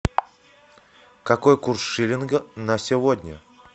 какой курс шиллинга на сегодня